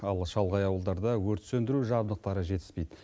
ал шалғай ауылдарда өрт сөндіру жабдықтары жетіспейді